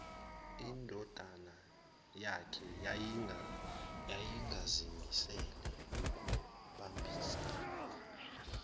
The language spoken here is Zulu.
indodanayakhe yayingazimisele ukubambisana